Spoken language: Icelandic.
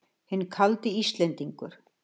Hinn kaldi Íslendingur!